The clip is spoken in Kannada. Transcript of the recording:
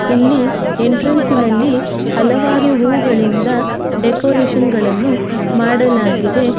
ಇಲ್ಲಿ ಎಂಟ್ರನ್ಸಿ ನಲ್ಲಿ ಹಲವಾರು ಹೂಗಳಿಂದ ಡೆಕೋರೇಷನ್ ಗಳನ್ನು ಮಾಡಲಾಗಿದೆ.